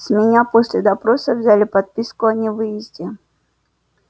с меня после допроса взяли подписку о невыезде